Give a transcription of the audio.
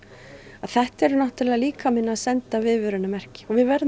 þetta er líkaminn að senda viðvörunarmerki og við verðum að